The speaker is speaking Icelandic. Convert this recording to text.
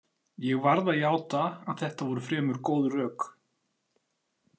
Ég varð að játa að þetta voru fremur góð rök.